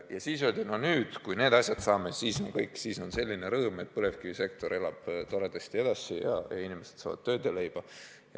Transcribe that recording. Ja siis öeldi, et kui me nüüd need asjad saame, siis on kõik, siis on selline rõõm, põlevkivisektor elab toredasti edasi ning inimesed saavad tööd ja leiba.